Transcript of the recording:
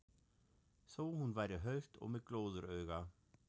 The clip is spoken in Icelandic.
Þó hún væri hölt og með glóðarauga.